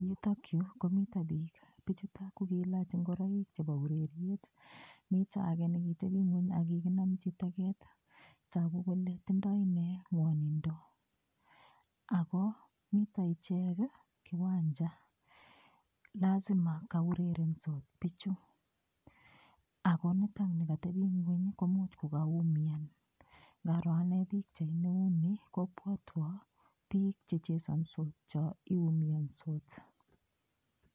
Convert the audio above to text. Yutok yu ko mito biik, biichuto ko kiilach ingoroik chebo ureriet. Mito age negitebi ingwony ak kiginchi teget. Tagu kole tindoi inne ngwonindo ago mito ichek kiwancha. Lasima kaurerensot biichu, agonitok ni katepen ingwony komuch kogaumian. Ngaroo ane pikchaini kobwatwo biik che chesansot cho iumiansot.